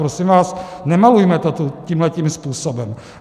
Prosím vás, nemalujme to tu tímhle způsobem.